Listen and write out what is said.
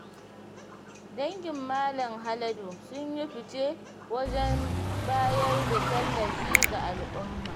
Dangin Malam Haladu sun yi fi ce wajen bayar da tallafi ga al'umma.